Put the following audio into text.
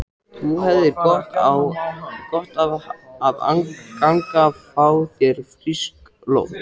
Þú hefðir gott af að ganga. fá þér frískt loft?